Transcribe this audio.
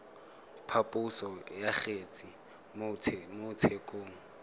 phaposo ya kgetse mo tshekong